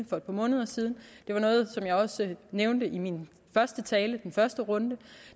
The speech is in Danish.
for et par måneder siden og det var noget som jeg også nævnte i min første tale i den første runde